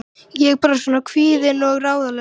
Heyrðu, sagði hann við Öbbu hina.